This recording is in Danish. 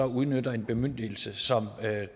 udnytte en bemyndigelse som